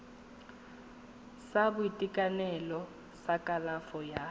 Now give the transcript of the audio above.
sa boitekanelo sa kalafo ya